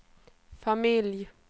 familj